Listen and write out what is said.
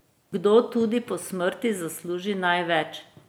Kdo tudi po smrti zasluži največ?